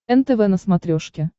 нтв на смотрешке